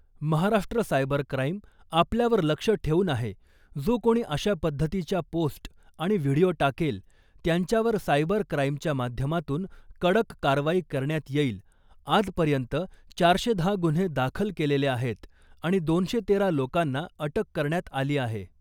Maharashtra cyber crime आपल्यावर लक्ष देऊन आहे जो कोणी अशा पद्धतीच्या पोस्ट आणि व्हिडिओ टाकेल त्यांच्यावर सायबर क्राईमच्या माध्यमातून कडक कारवाई करण्यात येईल आज पर्यंत चारशे दहा गुन्हे दाखल केलेले आहेत आणि दोनशे तेरा लोकांना अटक करण्यात आली आहे .